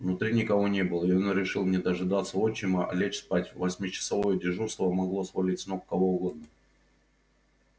внутри никого не было и он решил не дожидаться отчима а лечь спать восьмичасовое дежурство могло свалить с ног кого угодно